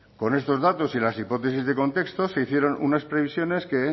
con estos datos y las hipótesis de contexto se hicieron unas previsiones que